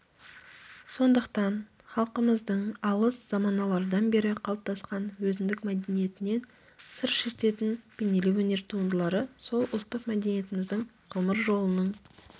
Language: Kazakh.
сондықтан халқымыздың алыс заманалардан бері қалыптасқан өзіндік мәдениетінен сыр шертетін бейнелеу өнер туындылары сол ұлттық мәдениетіміздің ғұмыр жолының